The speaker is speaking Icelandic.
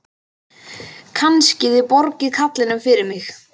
Kannski þið borgið karlinum fyrir mig.